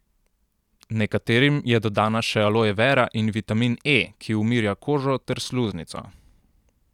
Nekaterim je dodana še aloe vera in vitamin E, ki umirja kožo ter sluznico.